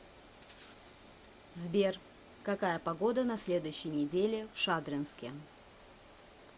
сбер какая погода на следующей неделе в шадринске